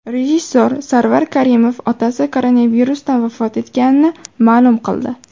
Rejissor Sarvar Karimov otasi koronavirusdan vafot etganini ma’lum qildi.